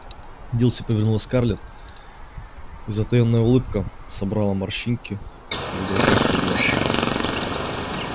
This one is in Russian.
дилси повернулась к скарлетт и затаённая улыбка собрала морщинки в уголках её глаз